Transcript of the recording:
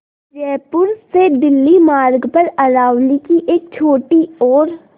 जयपुर से दिल्ली मार्ग पर अरावली की एक छोटी और